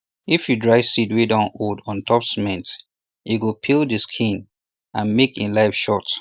if you dry seed wey don old for untop cement e go peel de seed skin and make e life short